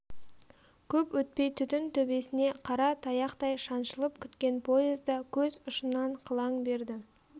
көп өтпей түтін төбесіне қара таяқтай шаншылып күткен поезда көз ұшынан қылаң берді